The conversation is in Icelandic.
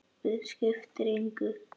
Skiptir engu.